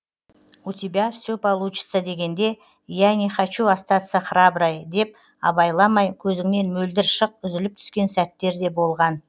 у тебя все получится дегенде я не хочу остаться храброй деп абайламай көзіңнен мөлдір шық үзіліп түскен сәттер де болған